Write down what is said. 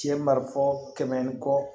Cɛ marifa kɛmɛ ni kɔ